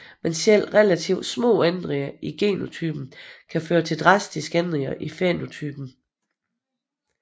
Men selv relativt små ændringer i genotypen kan føre til dramatiske ændringer i fænotypen